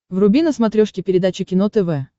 вруби на смотрешке передачу кино тв